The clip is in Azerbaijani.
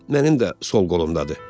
Mənim də sol qolumdadır.